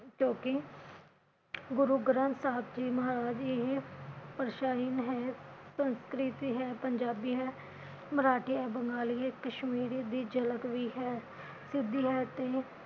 ਕਿਉਕਿ ਗੁਰੂ ਗਰੰਥ ਸਾਹਿਬ ਜੀ ਮਹਾਰਾਜ ਇਹ ਹੈ ਸੰਸਕ੍ਰਿਤੀ ਹੈ, ਪੰਜਾਬੀ ਹੈ, ਮਰਾਠੀ ਹੈ, ਬੰਗਾਲੀ ਹੈ, ਕਸ਼ਮੀਰੀ ਦੀ ਝਲਕ ਵੀ ਹੈ ਹੈ ਤੀ